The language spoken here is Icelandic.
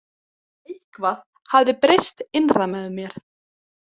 Eitthvað hafði breyst innra með mér.